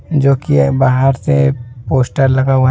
जो कि यह बाहर से पोस्टर लगा हुआ है।